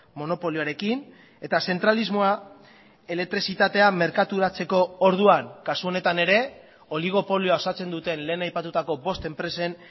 monopolioarekin eta zentralismoa elektrizitatea merkaturatzeko orduan kasu honetan ere oligopolioa osatzen duten lehen aipatutako bost enpresen